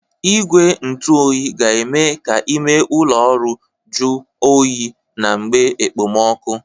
Igwe ntụ oyi ga-eme ka ime ụlọ ọrụ jọ oyi na mgbe ekpemọkụ